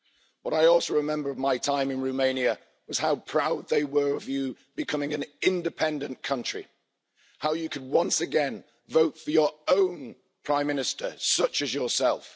What I also remember of my time in Romania was how proud they were of you becoming an independent country, how they can once again vote for their own Prime Minister, such as yourself.